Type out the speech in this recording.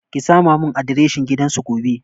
Ki sama mun adireshin gidan su gobe